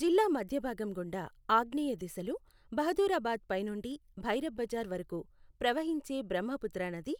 జిల్లా మధ్యభాగం గుండా ఆగ్నేయ దిశలో బహదూరాబాద్ పై నుండి భైరబ్ బజార్ వరకు ప్రవహించే బ్రహ్మపుత్ర నది